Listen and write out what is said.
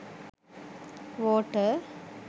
water